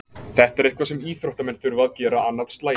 Þetta er eitthvað sem íþróttamenn þurfa að gera annað slagið.